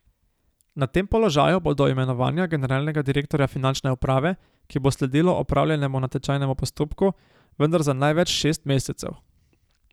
Na tem položaju bo do imenovanja generalnega direktorja finančne uprave, ki bo sledilo opravljenemu natečajnemu postopku, vendar za največ šest mesecev.